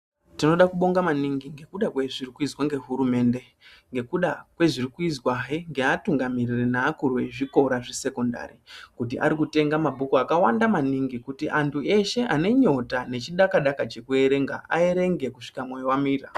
Tinoda kubonga maningi ngekuda kwezviri kuizwa ngehurumende ngekuge kwezviri kuizwa neatungamiriri neakuri ezvikora zvesekondari kuti arikutenga mabhuku akawanda maningi kuti antu eshe ane nyota nechidakadaka chekuerenga, aerenge kusvika mwoyo wamira.